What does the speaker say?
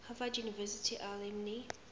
harvard university alumni